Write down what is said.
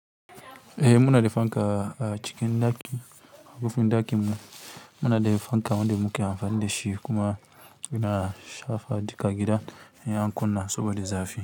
Eh muna da fanka a cikin ɗaki, a kofan ɗakin mu muna da fanka wanda muke amfani da shi kuma yana shafa duk gidan in an kunna saboda zafi.